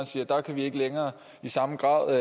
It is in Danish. siger at der kan vi ikke længere i samme grad